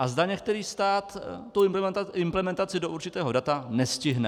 A zda některý stát tu implementaci do určitého data nestihne.